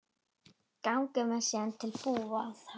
Ganga menn síðan til búða.